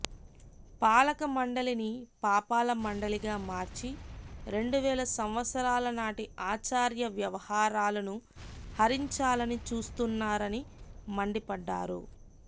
పాలక మండలిని పాపాల మండలిగా మార్చి రెండువేల సంవత్సరాల నాటి ఆచారవ్యవహారాలను హరించాలని చూస్తున్నారని మండిపడ్డారు